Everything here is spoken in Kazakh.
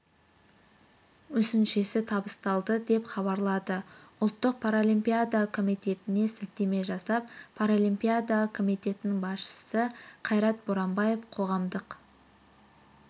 мүсіншесі табысталды деп хабарлады ұлттық паралимпиада комитетіне сілтеме жасап паралимпиада комитетінің басшысы қайрат боранбаев қоғамдық